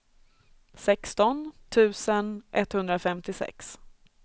sexton tusen etthundrafemtiosex